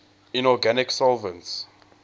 inorganic solvents